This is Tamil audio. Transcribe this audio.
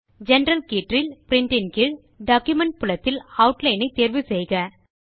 ஜெனரல் கீற்றில் Printன் கீழ் டாக்குமென்ட் புலத்தில் ஆட்லைன் தேர்வு செய்க